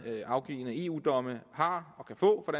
afgivne eu domme har og kan få for